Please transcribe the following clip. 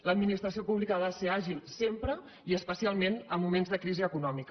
l’administració pública ha de ser àgil sempre i especialment en moments de crisi econòmica